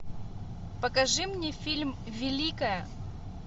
покажи мне фильм великая